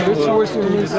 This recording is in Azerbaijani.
Tez, tez, tez!